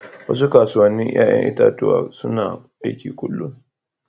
Wasu kasuwannin 'ya'yan itatuwa suna aiki kullum.